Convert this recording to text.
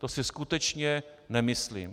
To si skutečně nemyslím.